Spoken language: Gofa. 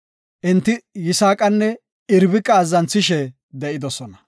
Enti Yisaaqanne Irbiqa azzanthishe de7idosona.